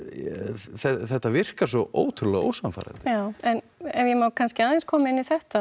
þetta virkar svo ótrúlega ósannfærandi já en ef ég má kannski aðeins koma inn í þetta